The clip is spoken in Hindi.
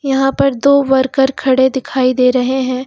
यहां पर दो वर्कर खड़े दिखाई दे रहे हैं।